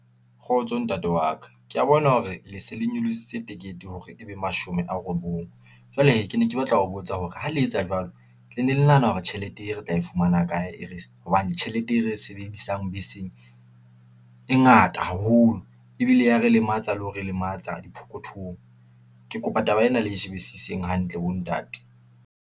Kgotso ntate wa ka, ke ya bona hore le se le nyolositse ticket-e hore ebe mashome a robong, jwale hee, ke ne ke batla ho botsa hore ha le etsa jwalo le ne le nahana hore tjhelete e re tla e fumana kae, hobane tjhelete e re sebedisang beseng e ngata haholo. Ebile ya re lematsa le ho re lematsa diphokothong, ke kopa taba ena le shebisiseng hantle bo ntate.